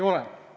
Kahtlemata!